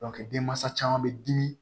denmansa caman bɛ dimi